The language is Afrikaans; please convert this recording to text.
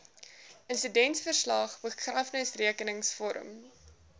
insidentverslag begrafnisrekenings vorm